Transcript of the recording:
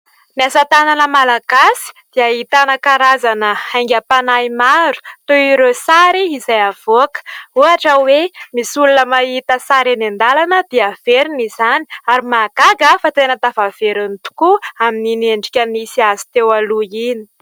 Ny asa tanana Malagasy dia ahitana karazana haingam-panahy maro , toy ireo sary izay avoaka hoatra hoe misy olona mahita sary eny andalana dia averina izany, ary ny mahagaga fa tena tafaveriny tokoa amin'ny endrika nisy azo teo aloha iny.